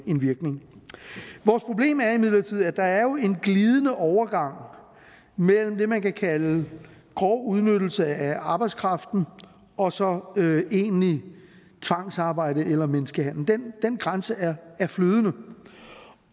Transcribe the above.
en virkning vores problem er imidlertid at der jo er en glidende overgang mellem det man kan kalde grov udnyttelse af arbejdskraften og så egentligt tvangsarbejde eller menneskehandel den grænse er flydende